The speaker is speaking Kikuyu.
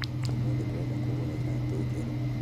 Ũmũthĩ ndĩrenda kũgũra iratũ njeru